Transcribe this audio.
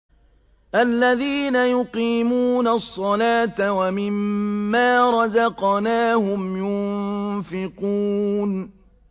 الَّذِينَ يُقِيمُونَ الصَّلَاةَ وَمِمَّا رَزَقْنَاهُمْ يُنفِقُونَ